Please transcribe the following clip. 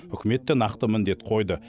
үкімет те нақты міндет қойды